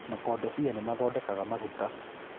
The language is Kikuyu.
Makodobia nĩ mathondekaga maguta